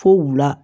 Fo wuula